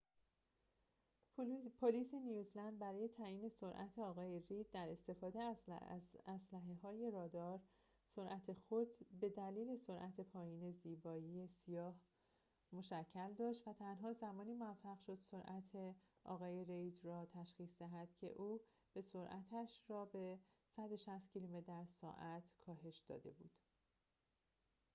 پلیس نیوزلند برای تعیین سرعت آقای رید در استفاده از اسلحه های رادار سرعت خود به دلیل سرعت پایین زیبایی سیاه مشکل داشت و تنها زمانی موفق شد سرعت آقای رید را تشخیص دهد که او به سرعتش را به ۱۶۰ کیلومتر در ساعت کاهش داده بود